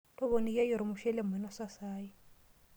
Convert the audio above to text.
Toponikiaki ormshushele mainosa saai.